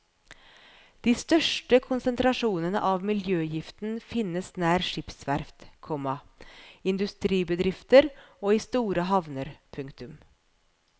De største konsentrasjonene av miljøgiften finnes nær skipsverft, komma industribedrifter og i store havner. punktum